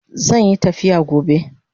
Zanyi tafiya gobe